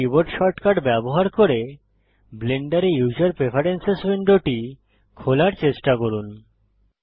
এখন keyboard shortcut ব্যবহার করে ব্লেন্ডারে ইউসার প্রেফেরেন্সেস উইন্ডোটি খোলার চেষ্টা করুন